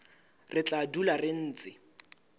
re tla dula re ntse